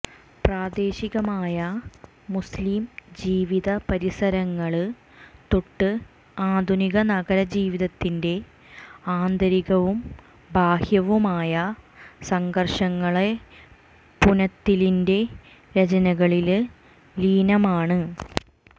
പ്രാദേശികമായ മുസ്ലിം ജീവിതപരിസരങ്ങള് തൊട്ട് ആധുനിക നഗരജീവിതത്തിന്റെ ആന്തരികവും ബാഹ്യവുമായ സംഘര്ഷങ്ങള്വരെ പുനത്തിലിന്റെ രചനകളില് ലീനമാണ്